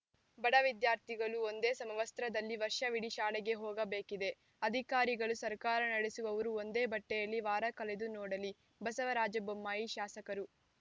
ಬಡ ವಿದ್ಯಾರ್ಥಿಗಳು ಒಂದೇ ಸಮವಸ್ತ್ರದಲ್ಲಿ ವರ್ಷವಿಡಿ ಶಾಲೆಗೆ ಹೋಗಬೇಕಿದೆ ಅಧಿಕಾರಿಗಳು ಸರ್ಕಾರ ನಡೆಸುವವರು ಒಂದೇ ಬಟ್ಟೆಯಲ್ಲಿ ವಾರ ಕಳೆದು ನೋಡಲಿ ಬಸವರಾಜ ಬೊಮ್ಮಾಯಿ ಶಾಸಕರು